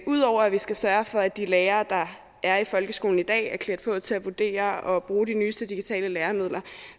ud over at vi skal sørge for at de lærere er i folkeskolen i dag er klædt på til at vurdere og bruge de nyeste digitale læremidler